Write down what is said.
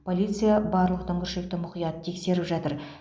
полиция барлық дүңгіршекті мұқият тексеріп жатыр